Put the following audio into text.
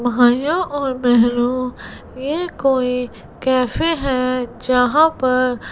भाइयों और बहनों ये कोई कैफे है जहां पर--